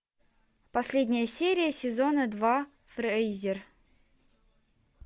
последняя серия сезона два фрейзер